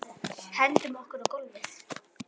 Hendum okkur á gólfið.